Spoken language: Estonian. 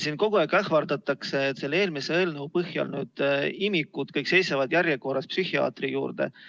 Siin kogu aeg ähvardatakse, et selle eelmise eelnõu põhjal nüüd imikud seisavad järjekorras, et psühhiaatri juurde saada.